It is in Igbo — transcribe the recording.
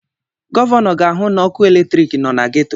Gọvanọ ga-ahụ na ọkụ eletrik nọ na geto.